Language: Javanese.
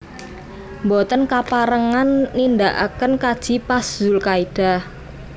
Mboten kaparengan nindaaken kaji pas zulkaidah